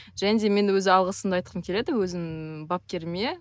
және де мен өзі алғысымды айтқым келеді өзімнің бапкеріме